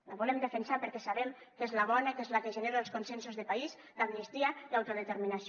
la volem defensar perquè sabem que és la bona que és la que genera els consensos de país d’amnistia i autodeterminació